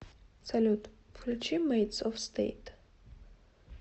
салют включи мэйтс оф стэйт